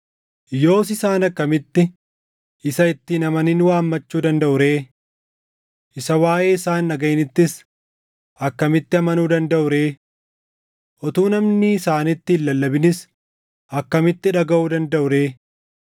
Yoos isaan akkamitti isa itti hin amanin waammachuu dandaʼu ree? Isa waaʼee isaa hin dhagaʼinittis akkamitti amanuu dandaʼu ree? Utuu namni isaanitti hin lallabinis akkamitti dhagaʼuu dandaʼu ree?